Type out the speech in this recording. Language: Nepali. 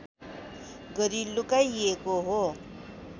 गरी लुकाइएको हो